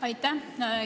Aitäh!